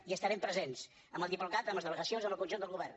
hi estarem presents amb el diplocat amb les delegacions amb el conjunt del govern